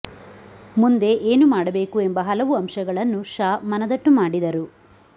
ಮುಂದೆ ಏನು ಮಾಡಬೇಕು ಎಂಬ ಹಲವು ಅಂಶಗಳನ್ನು ಶಾ ಮನದಟ್ಟು ಮಾಡಿದರು